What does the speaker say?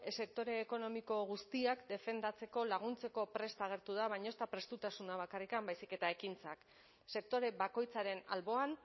sektore ekonomiko guztiak defendatzeko laguntzeko prest agertu da baina ez da prestutasuna bakarrik baizik eta ekintzak sektore bakoitzaren alboan